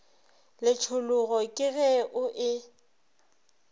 letšhologo ke ge o e